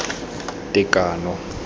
tekano